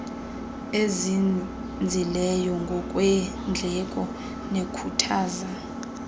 ezinzileyo ngokweendleko nekhuthaza